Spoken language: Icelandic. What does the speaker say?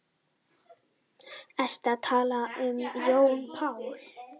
Ertu að tala um Jón Pál?